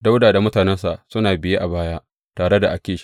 Dawuda da mutanensa suna biye a baya tare da Akish.